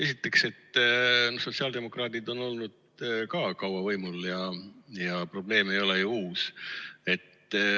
Esiteks, sotsiaaldemokraadid on olnud ka kaua võimul ja probleem ei ole ju uus.